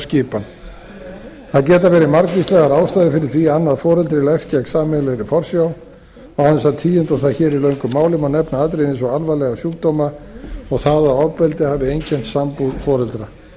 skipan það geta verið margvíslegar ástæður fyrir því að annað foreldri leggst gegn sameiginlegri forsjá án þess að tíunda það hér í löngu máli má nefna atriði eins og alvarlega sjúkdóma og það að ofbeldi hafi einkennt sambúð foreldra